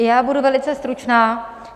I já budu velice stručná.